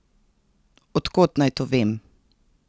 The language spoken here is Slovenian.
Od kod naj to vem?